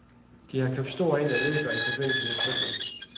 De har købt stort ind af møbler i forbindelse med flytningen.